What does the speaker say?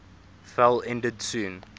fell ended soon